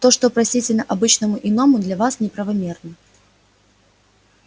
то что простительно обычному иному для вас неправомерно